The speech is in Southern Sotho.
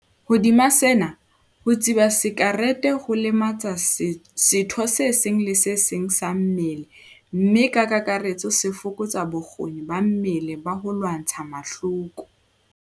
Hodima sena, ho tsuba sakerete ho lematsa setho se seng le se seng sa mmele mme ka kakaretso se fokotsa bokgoni ba mmele ba ho lwantsha mahloko.